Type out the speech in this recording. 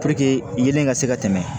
yeelen ka se ka tɛmɛ